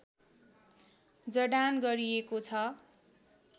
जडान गरिएको छ